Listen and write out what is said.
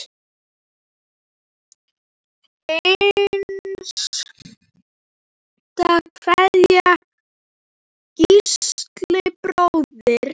Hinsta kveðja, Gísli bróðir.